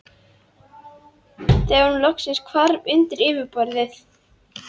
Bólga í munnvatnskirtli stafar af lélegri hirðingu munnsins.